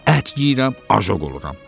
Ət yeyirəm, ajoq oluram.